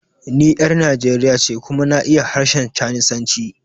Ni 'yar Nijeriya ce kuma na iya harshen Chanisanci.